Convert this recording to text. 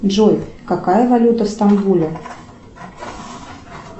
джой какая валюта в стамбуле